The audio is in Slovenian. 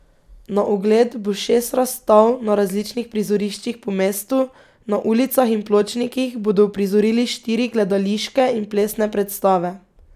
Na ogled bo šest razstav na različnih prizoriščih po mestu, na ulicah in pločnikih bodo uprizorili štiri gledališke in plesne predstave.